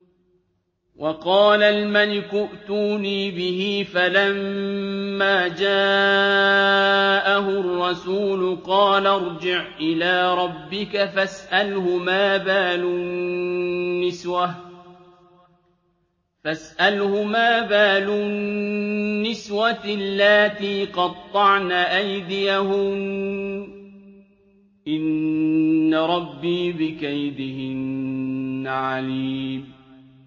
وَقَالَ الْمَلِكُ ائْتُونِي بِهِ ۖ فَلَمَّا جَاءَهُ الرَّسُولُ قَالَ ارْجِعْ إِلَىٰ رَبِّكَ فَاسْأَلْهُ مَا بَالُ النِّسْوَةِ اللَّاتِي قَطَّعْنَ أَيْدِيَهُنَّ ۚ إِنَّ رَبِّي بِكَيْدِهِنَّ عَلِيمٌ